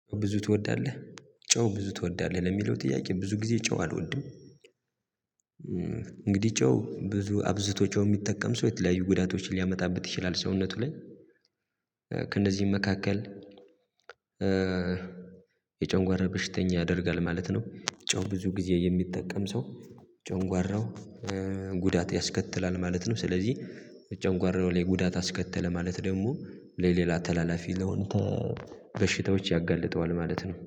ብዙ ትወዳለህ ጨው ብዙ ትወዳለህ ለሚለው ጥያቄ ብዙ ጊዜ ጨው አልወድም። እንግዲህ ጨው ብዙ አብዝቶ ጨው የሚጠቀም ሰው የተለያዩ ጉዳቶችን ሊያመጣበት ይችላል ሰውነቱ ላይ ከእነዚህም መካከል የጨጓራ በሽተኛ ያደርጋል ማለት ነው። ጨው ብዙ ጊዜ የሚጠቀም ሰው ጨጓራው ጉዳት ያስከትላል ማለት ነው። ስለዚህ ጨጓራው ላይ ጉዳት አስከተለ ማለት ደግሞ ለሌላ ተላላፊ ለሆነ በሽታዎች ያጋልጠዋል ማለት ነው